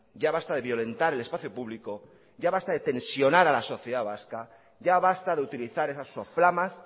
ya basta de violentar el espacio público ya basta de tensionar a la sociedad vasca ya basta de utilizar esas soflamas